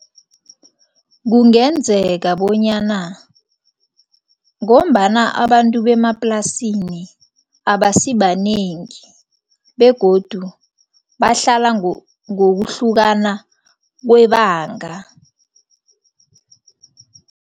Kungenzeka bonyana ngombana abantu bemaplasini abasibanengi begodu bahlala ngokuhlukana kwebanga.